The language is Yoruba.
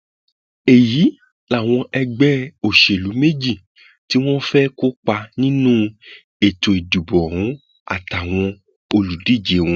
èyí làwọn ẹgbẹ òṣèlú méje tí wọn fẹẹ kópa nínú ètò ìdìbò ọhún àtàwọn olùdíje wọn